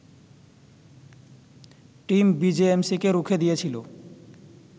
team বিজেএমসিকে রুখে দিয়েছিল